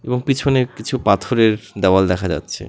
এবং পেছনে কিছু পাথরের দেওয়াল দেখা যাচ্ছে।